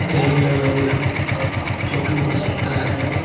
Railing लगा हुआ है पुलिस चौकी हो सकता है।